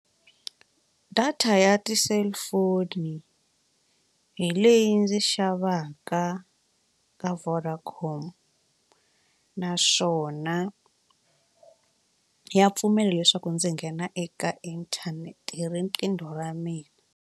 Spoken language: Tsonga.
Data ya ti-cellphone hi leyi ndzi xavaka ka Vodacom naswona ya pfumela leswaku ndzi nghena eka inthanete hi riqingho ra mina.